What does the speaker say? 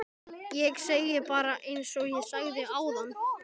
Ég segi bara einsog ég sagði áðan